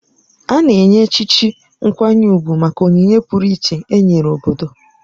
A na-enye echichi nkwanye ugwu maka onyinye pụrụiche e nyere obodo.